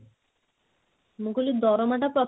ମୁଁ କହିଲି ଦରମା ଟା ପ୍ରତି